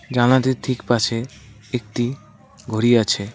জানলাটির ঠিক পাশে একটি ঘড়ি আছে।